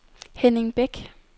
Henning Bæk